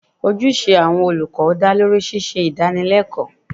Ojúṣe àwọn olùkọ́ dá lórí ṣíṣe Ìdánilẹ́kọ̀ọ́